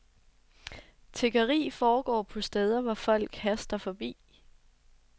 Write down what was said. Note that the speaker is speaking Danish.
Tiggeri foregår på steder, hvor folk haster forbi.